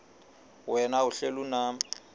wena uhlel unam